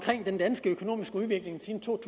den danske økonomiske udvikling siden to